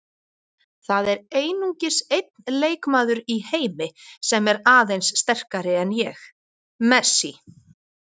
Það er einungis einn leikmaður í heimi sem er aðeins sterkari en ég- Messi.